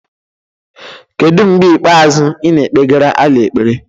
kedu mgbe ikpeazụ ị na-ekpegara Allah ekpere